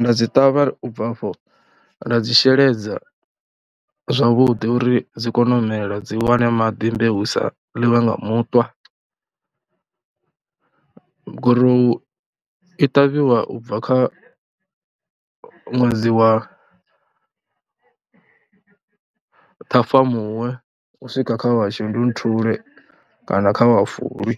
nda dzi ṱavha u bva afho nda dzi sheledza zwavhuḓi uri dzi kone u mela dzi wane maḓi mbeu i sa ḽiwe nga muṱwa. Gorowu i ṱavhiwa u bva kha ṅwedzi wa Ṱhafamuhwe u swika kha wa Shundunthule kana kha wa Fulwi.